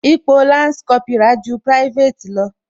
Ipò lansi Kópírà ju private lọ